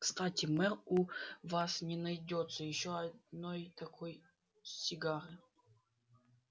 кстати мэр у вас не найдётся ещё одной такой сигары